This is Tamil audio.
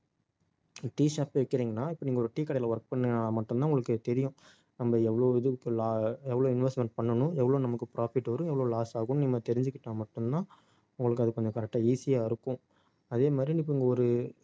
tea shop வைக்கறீங்கன்னா இப்ப நீங்க ஒரு tea கடையில work பண்ணா மட்டும்தான் உங்களுக்கு தெரியும் நம்ம எவ்வளவு இது எவ்வளவு லா~ investment பண்ணணும் எவ்வளவு நமக்கு profit வரும் எவ்வளவு loss ஆகும்ன்னு நம்ம தெரிஞ்சுக்கிட்டா மட்டும்தான் உங்களுக்கு அது கொஞ்சம் correct ஆ easy ஆ இருக்கும் அதே மாதிரி இப்ப நீங்க ஒரு